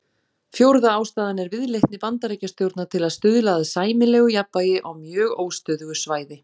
Fjórða ástæðan er viðleitni Bandaríkjastjórnar til að stuðla að sæmilegu jafnvægi á mjög óstöðugu svæði.